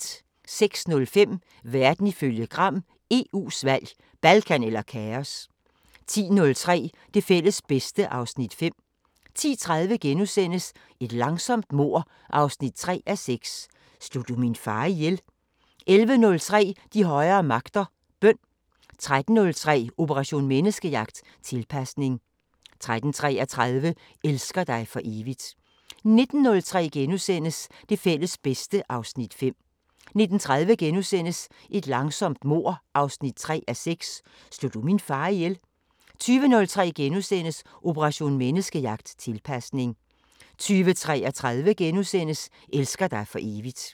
06:05: Verden ifølge Gram: EU's valg – Balkan eller kaos! 10:03: Det fælles bedste (Afs. 5) 10:30: Et langsomt mord 3:6 – Slog du min far ihjel? 11:03: De højere magter: Bøn 13:03: Operation Menneskejagt: Tilpasning 13:33: Elsker dig for evigt 19:03: Det fælles bedste (Afs. 5)* 19:30: Et langsomt mord 3:6 – Slog du min far ihjel? * 20:03: Operation Menneskejagt: Tilpasning * 20:33: Elsker dig for evigt *